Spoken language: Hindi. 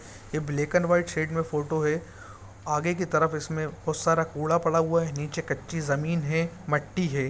ये ब्लैक एंड वाइट में फोटो है आगे के तरफ इस में बहुत सारा कूड़ा पड़ा हुआ है नीचे कच्ची जमीन है मट्टी है।